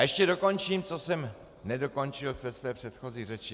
A ještě dokončím, co jsem nedokončil ve své předchozí řeči.